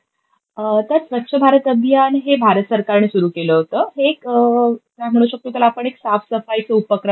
त्यात स्वच्छ भारत अभियान हे भारत सरकार ने सुरू केलं होतं. हे एक, काय म्हणू शकतो त्याला आपण? एक साफ सफाईचा उपक्रम